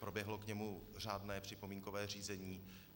Proběhlo k němu řádné připomínkové řízení.